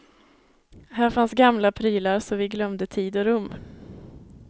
Här fanns gamla prylar så vi glömde tid och rum.